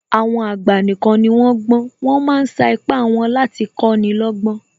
Àwọn àgbà nìkan ni wón gbọ́n, wọ́n ma ń sa ipá wọn láti kọ́ni lọ́gbọ́n